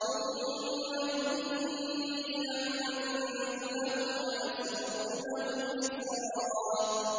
ثُمَّ إِنِّي أَعْلَنتُ لَهُمْ وَأَسْرَرْتُ لَهُمْ إِسْرَارًا